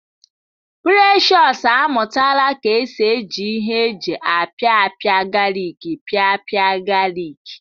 Precious amụtala ka esi eji ihe eji apipia galik pịpịa galik